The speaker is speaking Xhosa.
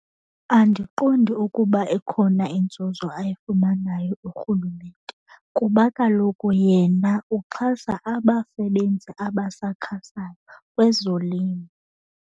Andiqondi ukuba ikhona inzuzo ayifumanayo uRhulumente kuba kaloku yena uxhasa abasebenzi abasakhasayo kwezolimo.